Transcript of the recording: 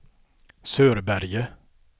Sörberge